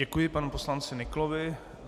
Děkuji panu poslanci Nyklovi.